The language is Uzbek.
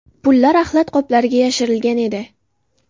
Pullar axlat qoplariga yashirilgan edi.